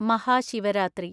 Mahashivratri